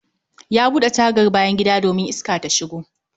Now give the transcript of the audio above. Ya bude tagar bayan gida domin Iska ta shigo